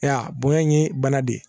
Aya bonya in ye bana de ye